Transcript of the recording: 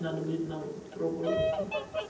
надо будет нам пробоваться